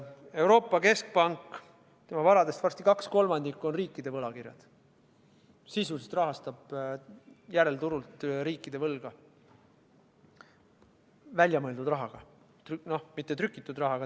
Euroopa Keskpanga varadest varsti kaks kolmandikku on riikide võlakirjad, ta sisuliselt rahastab järelturul riikide võlga, kasutades selleks väljamõeldud raha, mitte trükitud raha.